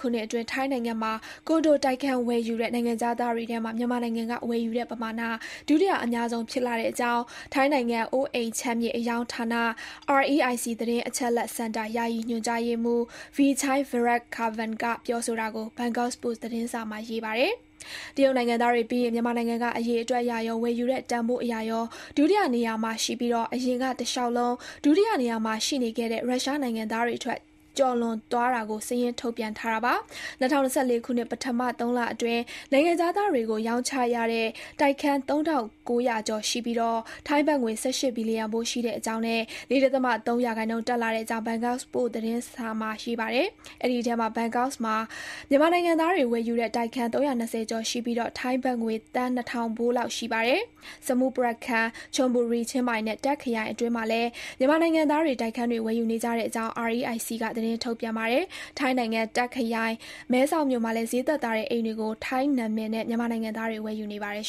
ခုနှစ်အတွင်း ထိုင်းနိုင်ငံမှာ ကွန်ဒိုတိုက်ခန်း ဝယ်ယူတဲ့ နိုင်ငံခြားသားတွေထဲမှာ မြန်မာနိုင်ငံက ဝယ်ယူတဲ့ ပမာဏ ဒုတိယ အများဆုံး ဖြစ်လာတဲ့အကြောင်း ထိုင်းနိုင်ငံ အိုးအိမ်ခြံမြေ အရောင်းဌာန REIC သတင်းအချက်အလက် စင်တာ ယာယီညွှန်ကြားရေးမှုး Vichai Viratkapan က ပြောဆိုတာကို ဘန်ကောက်ပို့စ်သတင်းစာမှာ ရေးပါတယ်။ တရုတ်နိုင်ငံသားတွေပြီးရင် မြန်မာနိုင်ငံက အရေအတွက်အရရော၊ ဝယ်ယူတဲ့ တန်ဖိုးအရရော ဒုတိယနေရမှာ ရှိပြီး အရင်က တလျှောက်လုံး ဒုတိယနေမှာ ရှိနေခဲ့တဲ့ ရုရှားနိုင်ငံသားတွေထက် ကျော်သွားတာကို စာရင်းထုတ်ပြန်ထားတာပါ။ ၂၀၂၄ ခုနှစ် ပထမ သုံးလအတွင်း နိုင်ငံခြားသားတွေကို ရောင်းချရတဲ့ တိုက်ခန်း သုံးထောင့်ကိုးရာကျော် ရှိပြီး ထိုင်းဘတ်ငွေ ၁၈ ဘီလျံဖိုး ရှိတဲ့အကြောင်းနဲ့ ၄ ဒသမ ၃ ရာခိုင်နှုန်းတက်လာတဲ့အကြောင်း ဘန်ကောက်ပို့စ် သတင်းစာမှာ ရေးပါတယ်။ အဲဒီအထဲမှာ ဘန်ကောက်မှာ မြန်မာနိုင်ငံသားတွေ ဝယ်ယူတဲ့ တိုက်ခန်း ၃၂၀ ကျော်ရှိပြီး ထိုင်းဘတ်ငွေ သန်း နှစ်ထောင်ဖိုးလောက် ရှိပါတယ်။ Samut Prakan ၊ Chon Buri၊ ချင်းမိုင်နဲ့ Tak ခရိုင်အတွင်းမှာလည်း မြန်မာနိုင်ငံသားတွေ တိုက်ခန်းတွေ ဝယ်ယူနေကြတဲ့အကြောင်း REIC က စာရင်းထုတ်ပြန်ပါတယ်။ ထိုင်းနိုင်ငံ Tak ခရိုင် မဲဆောက်မြို့မှာလည်း ဈေးသက်သာတဲ့ အိမ်တွေကို ထိုင်းနာမည်တွေနဲ့ မြန်မာနိုင်ငံသားတွေ ဝယ်ယူနေပါတယ်